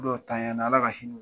Dɔw tanɲala ala ka hinɛ